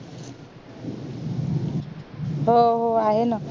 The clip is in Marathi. हो हो आहे ना